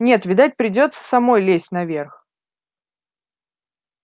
нет видать придётся самой лезть наверх